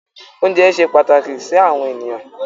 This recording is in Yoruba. Oúnjẹ ṣe pàtàkì sí àwọn ènìyàn.